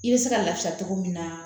I bɛ se ka lafiya cogo min na